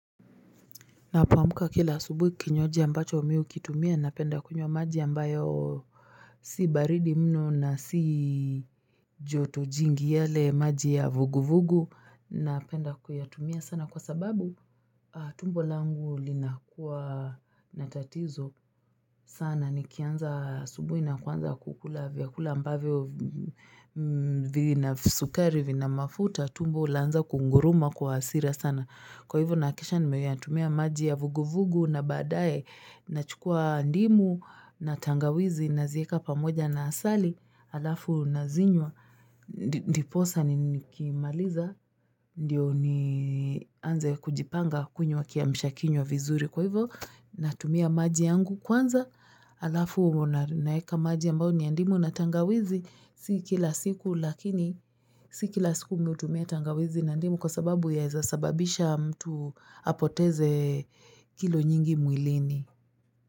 Ninapoamka kila asubuhi kinywaji ambacho mimi ukitumia napenda kunywa maji ambayo. Si baridi mno na si joto jingi. Yale maji ya vuguvugu. Napenda kuyatumia sana kwa sababu. Tumbo langu linakuwa natatizo, sana nikianza asubuhi na kuanza kula vyakula ambavyo. Vina sukari, vina mafuta, tumbo laanza kunguruma kwa hasira sana. Kwa hivyo nahakikisha nimeyatumia maji ya vuguvugu. Na baadaye nachukua ndimu na tangawizi naziweka pamoja na asali alafu nazinywa. Ndiposa nikimaliza, ndio nianze kujipanga kunywa kiamshakiywa vizuri. Kwa hivyo natumia maji yangu kwanza. Alafu naweka maji ambayo niya ndimu na tangawizi. Si kila siku lakini. Si kila siku mimi utumia tangawizi na ndimu kwa sababu yaweza sababisha mtu. Apoteze kilo nyingi mwilini.